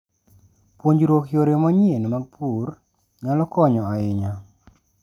Puonjruok yore manyien mag pur nyalo konyo ahinya.